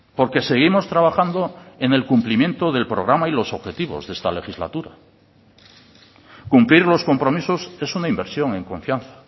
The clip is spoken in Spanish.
porque seguimos trabajando en el cumplimiento del programa y de los objetivos de esta legislatura cumplir los compromisos es una inversión en confianza